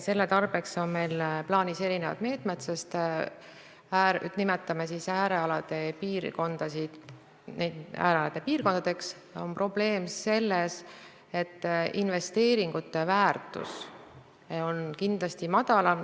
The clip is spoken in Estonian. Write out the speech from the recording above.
Selle tarbeks on meil plaanis erinevad meetmed, sest – nimetame neid piirkondi siis äärealade piirkondadeks – probleem on selles, et investeeringute väärtus on kindlasti väiksem.